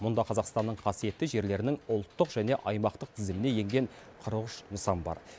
мұнда қазақстанның қасиетті жерлерінің ұлттық және аймақтық тізіміне енген қырық үш нысан бар